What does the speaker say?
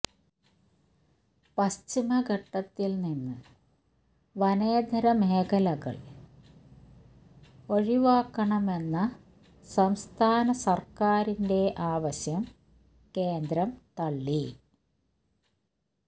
പശ്ചിമഘട്ടത്തിൽ നിന്ന് വനേതര മേഖലകൾ ഒഴിവാക്കണമെന്ന സംസ്ഥാന സർക്കാരിന്റെ ആവശ്യം കേന്ദ്രം തള്ളി